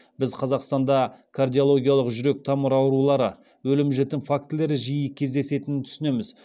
біз қазақстанда кардиологиялық жүрек тамыр аурулары өлім жітім фактілері жиі кездесетінін түсінеміз